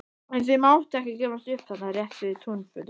En þau máttu ekki gefast upp þarna rétt við túnfótinn.